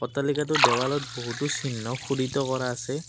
অট্টালিকাটোৰ দেৱালত বহুতো চিহ্ন খোদিত কৰা আছে।